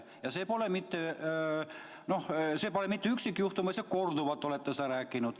Ja see pole mitte üksikjuhtum, vaid te olete korduvalt seda rääkinud.